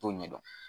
T'o ɲɛdɔn